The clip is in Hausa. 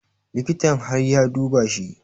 Likitan har ya duba shi